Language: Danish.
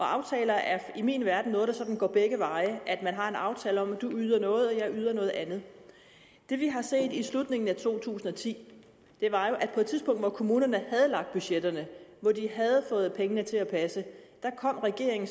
aftaler er i min verden noget der går begge veje man har en aftale om at du yder noget og at jeg yder noget andet det vi har set i slutningen af to tusind og ti var jo at på et tidspunkt hvor kommunerne havde lagt budgetterne og hvor de havde fået pengene til at passe kom regeringen